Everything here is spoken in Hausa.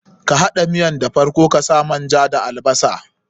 Ka haɗa miyan da farko ta sa man ja da albasar.